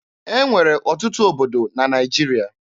E nwere ọtụtụ obodo na Naịjirịa.